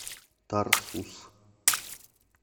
тарсус